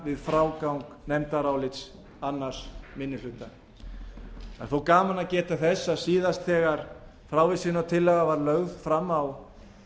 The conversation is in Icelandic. við frágang nefndarálits annar minni hluta það er þó gaman að geta þess að síðast þegar frávísunartillaga var lögð fram á